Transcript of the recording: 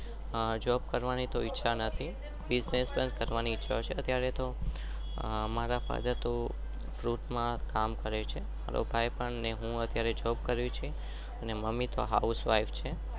અહહ job કરવાની તો ઇચ્ચ્ચા નતી. બીસ્સ્નેસ્સ માં છે.